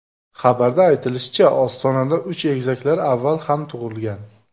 Xabarda aytilishicha, Ostonada uch egizaklar avval ham tug‘ilgan.